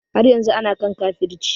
Har yanzu ana kan kafirci